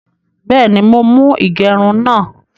Bẹ́ẹ̀ni, mọ̀ mú igerún náà.